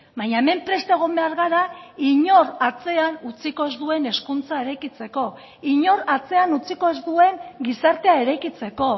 baina hemen prest egon behar gara inor atzean utziko ez duen hezkuntza eraikitzeko inor atzean utziko ez duen gizartea eraikitzeko